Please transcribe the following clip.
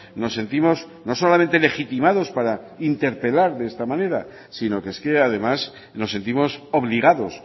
nos sentimos no solamente legitimados para interpelar de esta manera sino que es que además nos sentimos obligados